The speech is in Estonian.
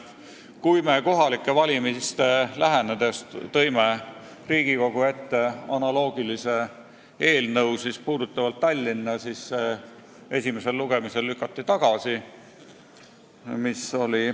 Kui me aga kohalike valimiste lähenedes tõime parlamendi ette analoogse eelnõu, mis puudutas Tallinna, siis lükati see esimesel lugemisel tagasi.